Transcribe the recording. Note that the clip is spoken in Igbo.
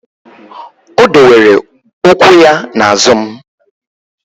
O dowere ụkwụ ya na azụ m